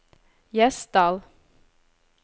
Gjesdal